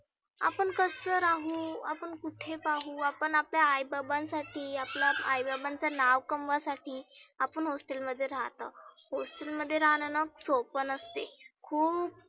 आपण कसं राहु आपण कुठे पाहु आपण आपल्या आई बाबांसाठी आपल्या आई बाबांचं नाव कमवण्यासाठी आपण hostel मध्ये राहतो. hostel मध्ये राहनं सोप नसते. खुप